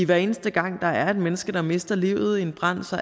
hver eneste gang der er et menneske der mister livet i en brand